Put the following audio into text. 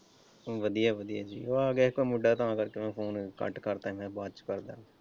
ਵਧੀਆ ਵਧੀਆ ਉਹ ਆ ਗਿਆ ਸੀ ਇੱਕ ਮੁੰਡਾ ਤਾਂ ਕਰਕੇ ਮੈਂ ਫੋਨ ਕੱਟ ਕਰ ਦਿੱਤਾ ਸੀ ਮੈਂ ਕਿਹਾ ਬਾਅਦ ਚ ਕਰਦਾ।